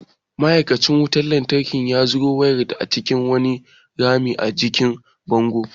Ma’aikacin wutar lantarkin ya ziro wayar ta cikin wani rami a jikin bango.